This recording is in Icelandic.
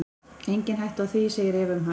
Engin hætta á því, segir Eva um hæl.